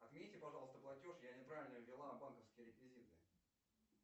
отмените пожалуйста платеж я неправильно ввела банковские реквизиты